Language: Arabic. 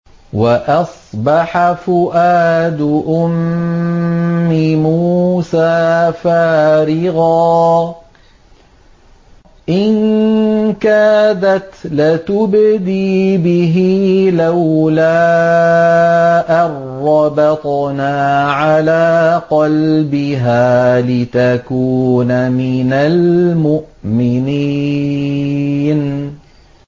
وَأَصْبَحَ فُؤَادُ أُمِّ مُوسَىٰ فَارِغًا ۖ إِن كَادَتْ لَتُبْدِي بِهِ لَوْلَا أَن رَّبَطْنَا عَلَىٰ قَلْبِهَا لِتَكُونَ مِنَ الْمُؤْمِنِينَ